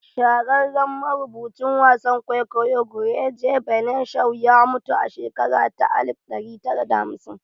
Shahararren marubucin wasan kwaikwayo George Bernard Shaw ya mutu a shekara ta alif ɗari da hamsin